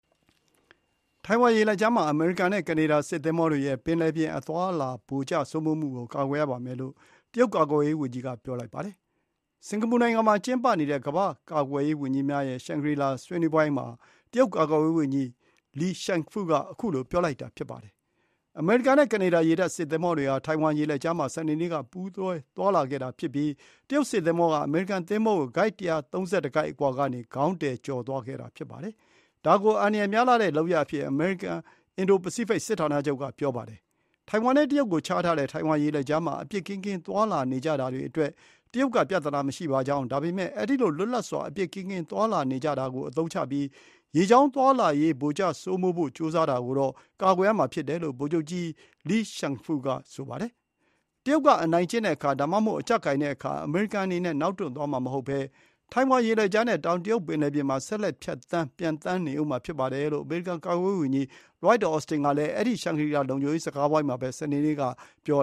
ထိုင်ဝမ်ရေလက်ကြားမှာ အမေရိကန်နဲ့ ကနေဒါစစ်သင်္ဘောတွေရဲ့ ပင်လယ်ပြင်အသွားအလာ လွှမ်းမိုးမှုကို ကာကွယ်ရပါမယ်လို့ တရုတ်ကာကွယ်ရေးဝန်ကြီးကပြောလိုက်ပါတယ်။ စင်္ကာပူနိုင်ငံမှာကျင်းပနေတဲ့ ကမ္ဘာ့ ကာကွယ်ရေး ဝန်ကြီးများရဲ့ Shangri-La ဆွေးနွေးဝိုင်းမှာ တရုတ်ကာကွယ်ရေးဝန်ကြီး Li Shangfu က ခုလို ပြောလိုက်တာ ဖြစ်ပါတယ်။ အမေရိကန်နဲ့ကနေဒါရေတပ်စစ်သင်္ဘောတွေဟာ ထိုင်ဝမ်ရေလက်ကြားမှာ စနေနေ့က ပူးတွဲသွားလာခဲ့တာ ဖြစ်ပြီး တရုတ် စစ်သင်္ဘောက အမေရိကန်သင်္ဘောကို ၁၃၁ ကိုက်အကွာကနေ ခေါင်းတည်ကျော်သွားခဲ့တာ ဖြစ်ပါတယ်။ ဒါကို အန္တရာယ်များတဲ့လုပ်ရပ်အဖြစ် အမေရိကန် အင်ဒိုပစိဖိတ် စစ်ဌာနချုပ်ကပြောပါတယ်။ ထိုင်ဝမ်နဲ့ တရုတ်ကိုခြားထားတဲ့ ထိုင်ဝမ်ရေလက်ကြားမှာ အပြစ်ကင်းကင်း သွားလာနေကြတာအတွက် တရုတ်က ပြဿနာမရှိကြောင်း၊ ဒါပေမဲ့အဲဒီလိုလွတ်လပ်စွာ အပြစ်ကင်းကင်းသွားလာနေကြတာကို အသုံးချပြီး ရေကြောင်းသွားလာရေး လွှမ်းမိုးဖို့ ကြိုးစားတာကိုတော့ ကာကွယ်ရမှာဖြစ်တယ်လို့ ဗိုလ်ချုပ်ကြီး Li Shangfu က ဆိုပါတယ်။ တရုတ်က အနိုင်ကျင့်တဲ့အခါ ဒါမှမဟုတ် အကျပ်ကိုင်တဲ့အခါ အမေရိကန်အနေနဲ့ နောက်တွန့်သွားမှာ မဟုတ်ဘဲ ထိုင်ဝမ်ရေလက်ကြားနဲ့ တောင်တရုတ်ပင်လယ်ပြင်မှာ ဆက်လက်ဖြတ်သန်းပျံသန်းနေဦးမှာ ဖြစ်တယ်လို့ အမေရိကန်ကာကွယ်ရေးဝန်ကြီး Lloyd Austin က အဲဒီရှန်ဂရီလာလုံခြုံရေး စကားဝိုင်းမှာပဲ စနေနေ့ကပြော